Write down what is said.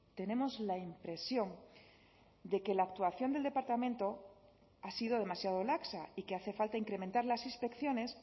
tenemos la impresión de que la actuación del departamento ha sido demasiado laxa y que hace falta incrementar las inspecciones